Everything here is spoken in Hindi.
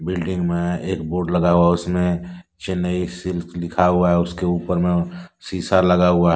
बिल्डिंग मैं एक बोर्ड लगा हुआ है। उसमें चेन्नई सिल्क लिखा हुआ है। उसके ऊपर में शीशा लगा हुआ है।